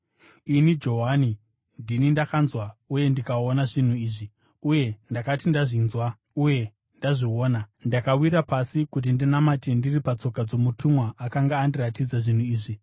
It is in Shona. Ini Johani, ndini ndakanzwa uye ndikaona zvinhu izvi. Uye ndakati ndazvinzwa uye ndazviona, ndakawira pasi kuti ndinamate ndiri patsoka dzomutumwa akanga andiratidza zvinhu izvi.